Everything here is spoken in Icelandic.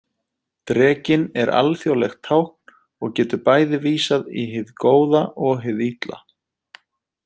Drekinn er alþjóðlegt tákn og getur bæði vísað í hið góða og hið illa.